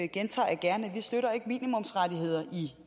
gentager jeg gerne at vi ikke støtter minimumsrettigheder i